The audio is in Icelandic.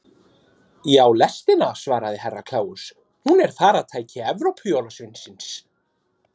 Þetta leiðir til myndunar æða eða óeðlilegrar litmyndunar í leður- og yfirhúð.